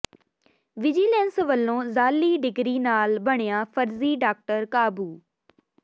vigilance ਵੱਲੋਂ ਜਾਅਲੀ degree ਨਾਲ ਬਣਿਆ ਫ਼ਰਜ਼ੀ ਡਾਕਟਰ ਕਾਬੂ